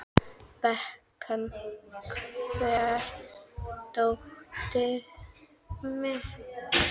Bekan, hvar er dótið mitt?